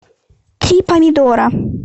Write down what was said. три помидора